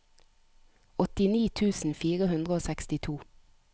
åttini tusen fire hundre og sekstito